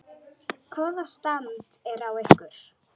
Hvaða stand er á ykkur?